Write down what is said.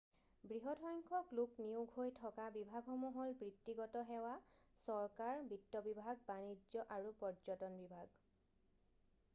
বৃহৎ সংখ্যক লোক নিয়োগ হৈ থকা বিভাগসমূহ হ'ল বৃত্তিগত সেৱা চৰকাৰ বিত্ত বিভাগ বানিজ্য আৰু পৰ্যটন বিভাগ